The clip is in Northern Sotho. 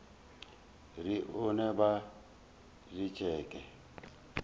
re e no ba letšeke